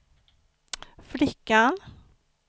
flickan